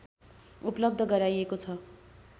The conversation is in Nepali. उपलब्ध गराइएको छ